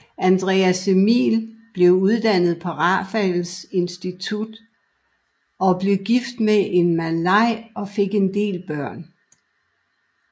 Andreas Emil blev uddannet på Raffles Institution og blev gift med en malaj og fik en del børn